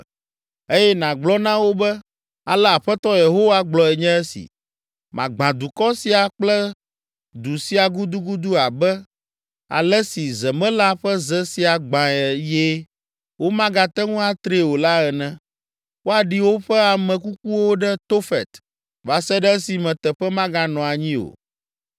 eye nàgblɔ na wo be, ‘Ale Aƒetɔ Yehowa gblɔe nye esi: Magbã dukɔ sia kple du sia gudugudu abe ale si zemela ƒe ze sia gbãe eye womagate ŋu atree o la ene. Woaɖi woƒe ame kukuwo ɖe Tofet va se ɖe esime teƒe maganɔ anyi o.